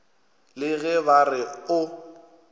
le ge ba re o